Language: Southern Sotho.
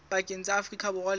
pakeng tsa afrika borwa le